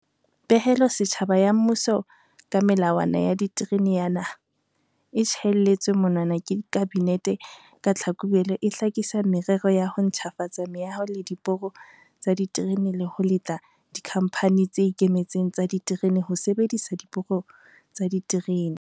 Pehelo setjhaba ya mmuso ka Melawana ya Diterene ya Naha, e tjhaelletsweng monwana ke Kabinete ka Tlhakubele, e hlakisa merero ya ho ntjhafatsa meaho le diporo tsa diterene le ho letla dikhamphani tse ikemetseng tsa diterene ho sebedisa diporo tsa diterene.